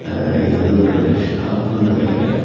அஹ் இது வந்து ஒரு ஷாப்னு நெனைக்கிறெ.